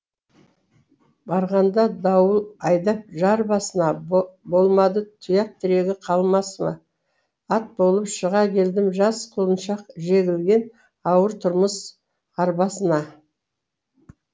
барғанда дауыл айдап жар басына болмады тұяқ тірегі қалмасыма ат болып шыға келдім жас құлыншақ жегілген ауыр тұрмыс арбасына